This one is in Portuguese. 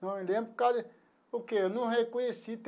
Não me lembro por causa porque não reconheci.